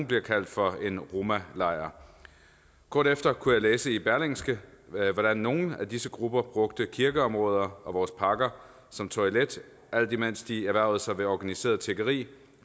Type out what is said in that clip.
bliver kaldt for en romalejr kort efter kunne jeg læse i berlingske hvordan nogle af disse grupper brugte kirkeområder og vores parker som toilet alt imens de erhvervede sig ved organiseret tiggeri